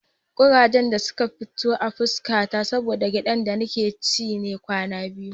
Ƙurajen da suka fito a fuska ta saboda gyaɗar da nake ci ne kwana biyu.